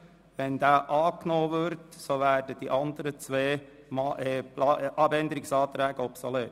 Sollte dieser angenommen werden, werden die anderen zwei Anträge obsolet.